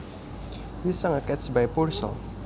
We sang a catch by Purcell